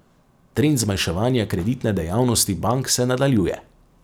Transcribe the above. Trend zmanjševanja kreditne dejavnosti bank se nadaljuje.